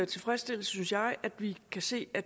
tilfredsstillelse synes jeg at vi kan se at